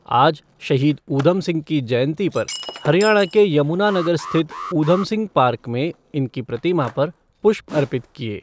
आज शहीद उधम सिंह की जयंती पर हरियाणा के यमुनानगर स्थित उधम सिंह पार्क में इनकी प्रतिमा पर पुष्प अर्पित किए गए।